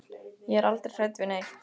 Ég er aldrei hrædd við neitt.